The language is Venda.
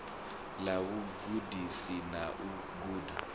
ḽa vhugudisi na u guda